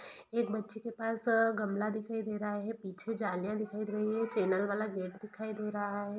यहाँ पे कुछ छोटे छोटे बच्चे दिखाई दे रहे हैं फर्श पर बैठे हुउनकी शिक्षिकाएं दिख रही है नीली रंग की तरफ लाल दीवार हैएक बच्ची के साथ गमला ही हुआ हैपीछे जालियां है और चैनल गेट है।